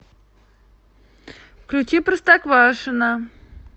включи простоквашино